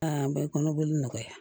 Aa bɛ kɔnɔboli nɔgɔya